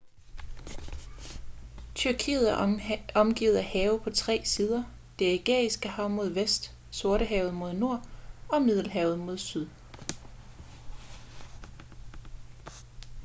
tyrkiet er omgivet af have på tre sider det ægæiske hav mod vest sortehavet mod nord og middelhavet mod syd